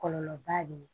Kɔlɔlɔba le ye